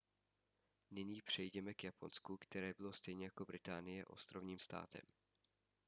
nyní přejděme k japonsku které bylo stejně jako británie ostrovním státem